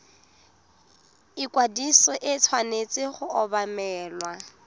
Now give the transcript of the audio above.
ikwadiso e tshwanetse go obamelwa